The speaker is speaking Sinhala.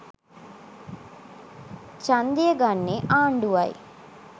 ඡන්දය ගන්නේ ආණ්ඩුවයි.